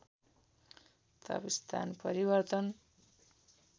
ताप स्थान परिवर्तन